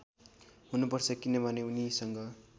हुनुपर्छ किनभने उनीसँग